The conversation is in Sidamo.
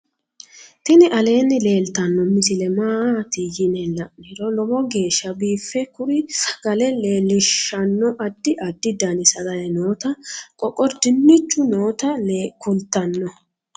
tini aleenni leeltannno misile maati yine la'niro lowo geeshsa biife kuri sagale leelishshanno addi addi dani sagale noota qoqor dinchu noota kultanno